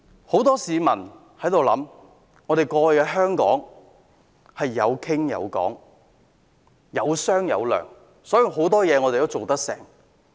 很多市民會想到，過去香港有商有量，故此很多事也能成功。